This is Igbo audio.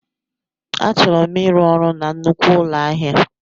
Achọrọ m ịrụ ọrụ na nnukwu ụlọ ahịa.